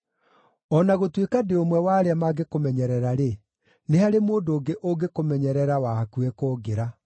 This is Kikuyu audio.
O na gũtuĩka ndĩ ũmwe wa arĩa mangĩkũmenyerera-rĩ, nĩ harĩ mũndũ ũngĩ ũngĩkũmenyerera wa hakuhĩ kũngĩra.